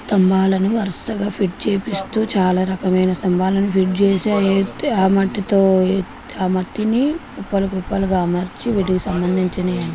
స్తంభాలను వరుసగా ఫిట్ చేపిస్తూ చాలా రకమైన స్తంభాలను ఫిట్ చేసి అయితే ఆ మట్టితో ఆ మట్టిని కుప్పలు కుప్పలుగా అమర్చి వీటికి సంబంధించిన--